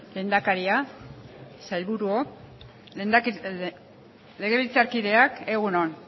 lehendakaria sailburuok legebiltzarkideak egun on